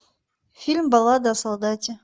фильм баллада о солдате